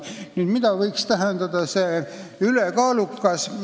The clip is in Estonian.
Nüüd, mida võiks tähendada "ülekaalukas"?